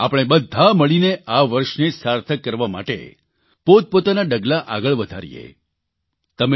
તો આવો આપણે બધા મળીને આ વર્ષને સાર્થક કરવા માટે પોતપોતાના ડગલાં આગળ વધારીએ